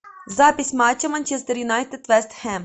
запись матча манчестер юнайтед вест хэм